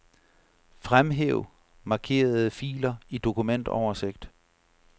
Fremhæv markerede filer i dokumentoversigt.